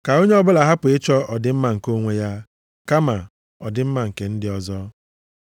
Ka onye ọbụla hapụ ịchọ ọdịmma nke onwe ya, kama ọdịmma nke ndị ọzọ.